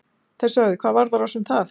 Þeir sögðu: Hvað varðar oss um það?